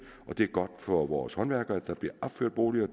og det er også godt for vores håndværkere at der bliver opført boliger